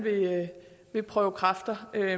vil prøve kræfter